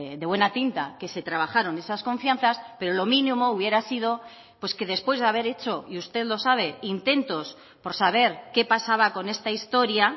de buena tinta que se trabajaron esas confianzas pero lo mínimo hubiera sido pues que después de haber hecho y usted lo sabe intentos por saber qué pasaba con esta historia